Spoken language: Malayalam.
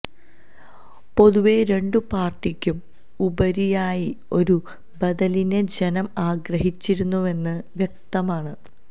പൊതുവേ രണ്ടുപാര്ട്ടിക്കും ഉപരിയായി ഒരു ബദലിനെ ജനം ആഗ്രഹിച്ചിരുന്നുവെന്ന് വ്യക്തമാണ്